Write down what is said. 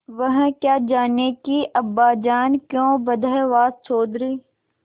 वह क्या जानें कि अब्बाजान क्यों बदहवास चौधरी